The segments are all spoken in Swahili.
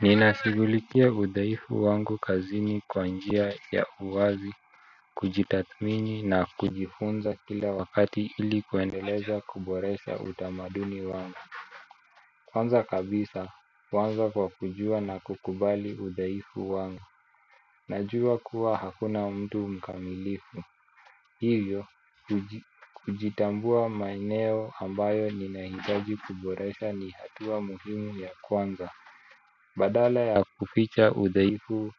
Ninashigulikia udhaifu wangu kazini kwa njia ya uwazi. Kujitathmini na kujifunza kila wakati ili kwendeleza kuboresha utamaduni wangu. Kwanza kabisa kwanza kwa kujua na kukubali udhaifu wangu. Najua kuwa hakuna mtu mkamilifu. Hivyo kujitambua maeneo ambayo ninahitaji kuboresha ni hatua muhimu ya kwanza. Badala ya kuficha udhaifu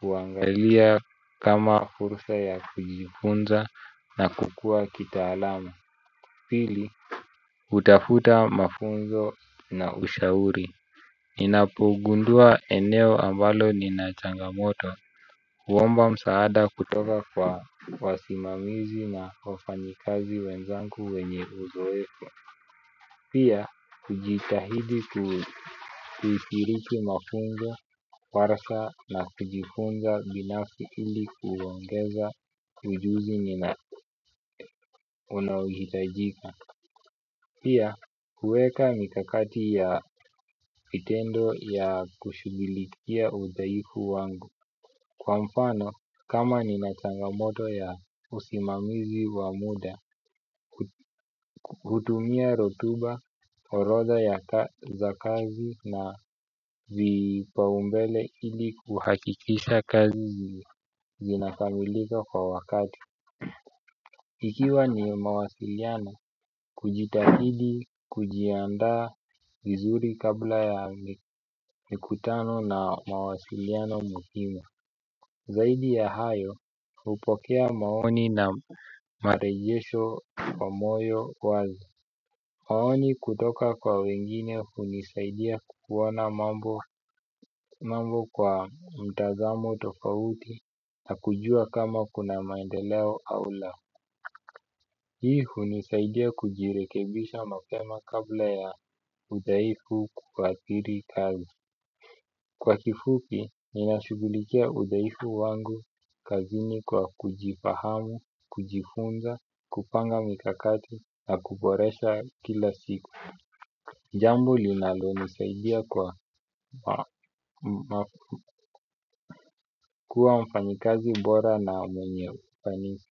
kuangalia kama fursa ya kujifunza na kukua kitaalamu. Pili utafuta mafunzo na ushauri. Ninapogundua eneo ambalo nina changamoto huomba msaada kutoka kwa wasimamizi na wafanyikazi wenzanku wenye uzoeko. Pia, kujitahidi kuipiriki mafungo, warsa na kujifunza binafsi ili kuwongeza ujuzi nina unaohitajika. Pia, kueka mikakati ya fitendo ya kushugilikia udhaifu wangu. Kwa mfano, kama ni nachangamoto ya usimamizi wa muda, kutumia rotuba, orotha ya za kazi na vipaumbele ili kuhakikisha kazi zinakamiliko kwa wakati. Ikiwa ni mawasiliano, kujitahidi, kujiandaa vizuri kabla ya mikutano na mawasiliano muhimu. Zaidi ya hayo upokea maoni na marejesho kwa moyo wazi. Maoni kutoka kwa wengine hunisaidia kuku ona mambo kwa mtazamo tofauti na kujua kama kuna maendeleo au la hii hunisaidia kujirekebisha mapema kabla ya udhaifu kukwakiri kazi kwa kifupi ninashugulikia udhaifu wangu kazini kwa kujifahamu kujifunza kupanga mikakati na kuboresha kila siku jambo linalonisaidia kuwa mfanyikazi bora na mwenye ufanisi.